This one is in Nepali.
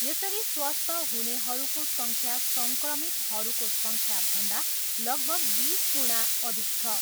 यसरी स्वस्थ हुनेहरूको सङ्ख्या सङ्क्रमितहरूको सङ्ख्याभन्दा लगभग बिस गुणा अधिक छ।